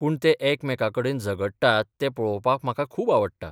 पूण ते एकामेकांकडेन झगडटात तें पळोवपाक म्हाका खूब आवडटा.